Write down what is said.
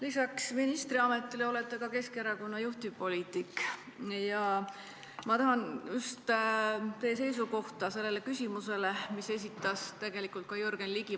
Lisaks ministriametile olete ka Keskerakonna juhtivpoliitik ja ma tahan kuulda teie seisukohta selles küsimuses, mille esitas Jürgen Ligi.